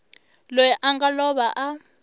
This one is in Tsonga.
loyi a nga lova a